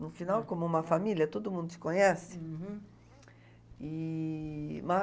No final, como uma família, todo mundo te conhece. Uhum. E...